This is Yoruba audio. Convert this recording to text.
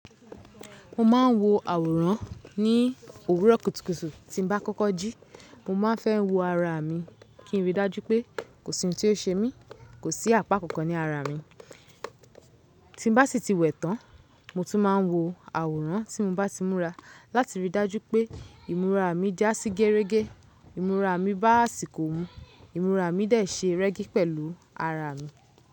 Mo ma n wo àwòrán ní òwúrọ̀ kùtùkùtù tí n bá kọ́kọ́ jí. Mo ma fẹ́ wo ara mi kí n rí i dájú pé kò sí ohun tí o ṣe mí, kò sí àpá kankan ní ara mi. Tí n bá sí ti wẹ tán, mo tún máa n wo àwòrán tí n bá ti múra láti rí i dájú pé ìmúra mi dá sí gẹrẹ́gẹ́, ìmúra mi bá àsìkò mu, ìmúra mi dẹ̀ ṣe rẹ́gí pẹ̀lú ara mi.